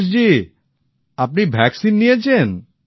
রাজেশ জি আপনি টিকা নিয়েছেন